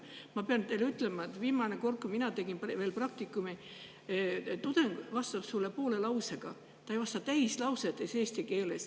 Ma pean teile ütlema, et viimane kord, kui mina tegin praktikumi, tudeng vastas mulle poole lausega, ta ei vastanud eesti keeles täislausetega.